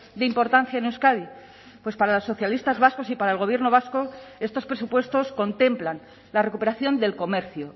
de importancia en euskadi pues para los socialistas vascos y para el gobierno vasco estos presupuestos contemplan la recuperación del comercio